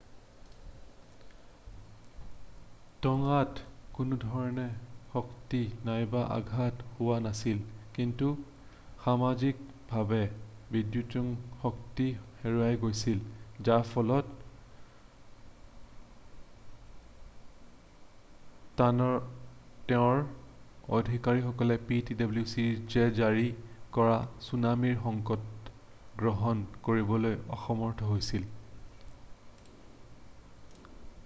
টঙাত কোনোধৰণৰ ক্ষতি নাইবা আঘাত হোৱা নাছিল কিন্তু সাময়িক ভাৱে বিদ্যুৎ শক্তি হেৰাই গৈছিল যাৰ ফলত টঙাৰ আধিকাৰীসকলে ptwcয়ে জাৰি কৰা চুনামিৰ সংকেত গ্ৰহণ কৰিবলৈ অসমৰ্থ হৈছিল।